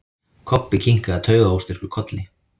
Kobbi kinkaði taugaóstyrkur kolli.